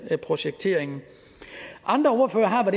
projekteringen andre ordførere har